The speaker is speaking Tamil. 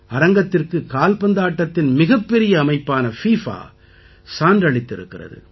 அரங்கத்திற்கு கால்பந்தாட்டத்தின் மிகப் பெரிய அமைப்பான பிஃபா சான்றளித்திருக்கிறது